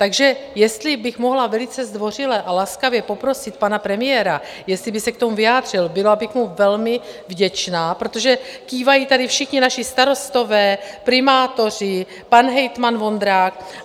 Takže jestli bych mohla velice zdvořile a laskavě poprosit pana premiéra, jestli by se k tomu vyjádřil, byla bych mu velmi vděčná, protože kývají tady všichni naši starostové, primátoři, pan hejtman Vondrák.